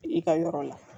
I ka yɔrɔ la